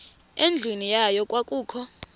endlwini yayo kwakukho